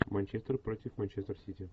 манчестер против манчестер сити